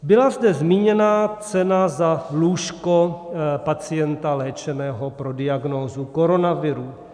Byla zde zmíněna cena za lůžko pacienta léčeného pro diagnózu koronaviru.